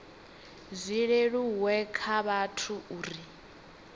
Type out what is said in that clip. zwi leluwe kha vhathu uri